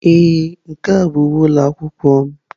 Ee, nke a bụ uwe ụlọ akwụkwọ m.